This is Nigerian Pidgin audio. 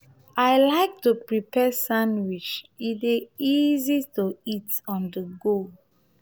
i like to prepare sandwich; e dey easy to eat on-the-go.